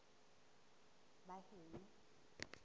baheno